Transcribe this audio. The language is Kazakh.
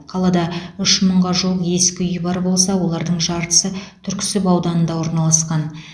қалада үш мыңға жуық ескі үй бар болса олардың жартысы түрксіб ауданында орналасқан